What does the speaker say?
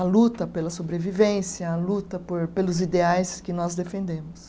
A luta pela sobrevivência, a luta por pelos ideais que nós defendemos.